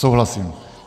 Souhlasím.